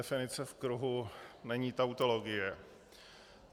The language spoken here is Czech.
Definice v kruhu není tautologie.